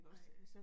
Nej